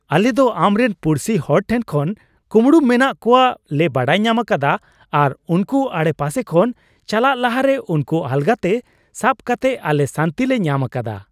ᱟᱞᱮ ᱫᱚ ᱟᱢᱨᱮᱱ ᱯᱩᱲᱥᱤ ᱦᱚᱲ ᱴᱷᱮᱱ ᱠᱷᱚᱱ ᱠᱩᱢᱲᱩ ᱢᱮᱱᱟᱜ ᱠᱚᱣᱟᱜ ᱞᱮ ᱵᱟᱰᱟᱭ ᱧᱟᱢ ᱟᱠᱟᱫᱟ ᱟᱨ ᱩᱱᱠᱩ ᱟᱰᱮᱯᱟᱥᱮ ᱠᱷᱚᱱ ᱪᱟᱞᱟᱜ ᱞᱟᱦᱟᱨᱮ ᱩᱱᱠᱩ ᱟᱞᱜᱟ ᱛᱮ ᱥᱟᱵ ᱠᱟᱛᱮᱜ ᱟᱞᱮ ᱥᱟᱹᱱᱛᱤ ᱞᱮ ᱧᱟᱢ ᱟᱠᱟᱫᱟ ᱾